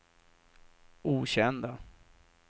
okända